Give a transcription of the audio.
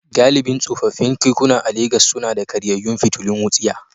Galibin tsofaffin kekuna a Legas suna da karyayyun fitilun wutsiya.